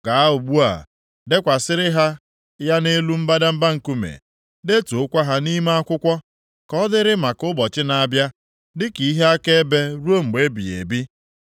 Gaa ugbu a, dekwasịrị ha ya nʼelu mbadamba nkume, detuokwa ha nʼime akwụkwọ, ka ọ dịrị maka ụbọchị na-abịa dịka ihe akaebe ruo mgbe ebighị ebi.